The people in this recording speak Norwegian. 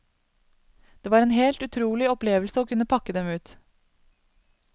Det var en helt utrolig opplevelse å kunne pakke dem ut.